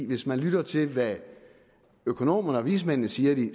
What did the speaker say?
hvis man lytter til hvad økonomerne og vismændene siger kan